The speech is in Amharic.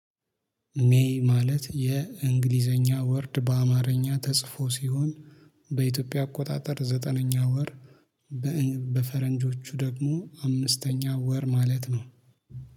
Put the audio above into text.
ሜይ ማለት የእንግሊዘኛ ወርድ በአማርኛ ተጽፎ ሲሆን በኢትዮጵያ አቆጣጠር ዘጠነኛ ወር። በፈረንጆቹ ደግሞ አምስተኛ ወር ማለት ነው